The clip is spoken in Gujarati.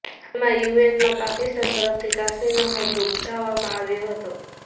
હાલમાં જ યુએનમાં પાકિસ્તાન તરફથી કાશ્મીરનો મુદ્દો ઉઠાવવામાં આવ્યો હતો